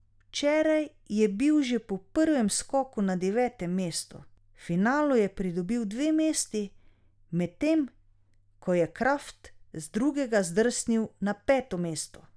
Včeraj je bil že po prvem skoku na devetem mestu, v finalu je pridobil dve mesti, medtem ko je Kraft z drugega zdrsnil na peto mesto.